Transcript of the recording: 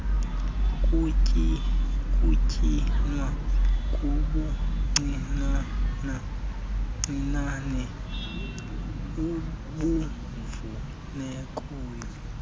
kunyinwe kubuncinane ubufunekayo